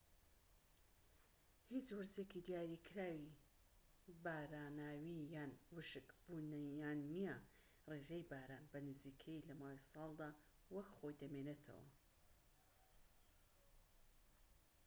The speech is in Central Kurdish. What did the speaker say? هیچ وەرزێکی دیاریکراوی باراناوی یان ووشک بوونیان نییە: ڕێژەی باران بە نزیکەیی لە ماوەی ساڵدا وەک خۆی دەمێنێتەوە‎